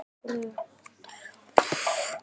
Dóttir þeirra er Klara.